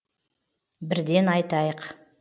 бірден айтайық